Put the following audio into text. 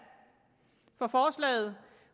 for forslaget